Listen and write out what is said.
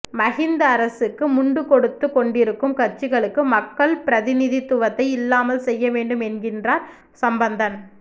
மஹிந்த அரசுக்கு முண்டு கொடுத்துக் கொண்டிருக்கும் கட்சிகளுக்கு மக்கள் பிரதிநிதித்துவத்தை இல்லாமல் செய்ய வேண்டும் என்கிறார் சம்பந்தன்